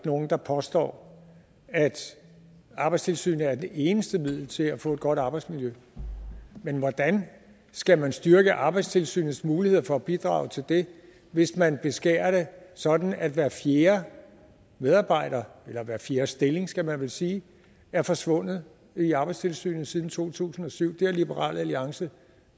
nogen der påstår at arbejdstilsynet er det eneste middel til at få et godt arbejdsmiljø men hvordan skal man styrke arbejdstilsynets muligheder for at bidrage til det hvis man beskærer det sådan at hver fjerde medarbejder eller hver fjerde stilling skal man vel sige er forsvundet i arbejdstilsynet siden 2007 det har liberal alliance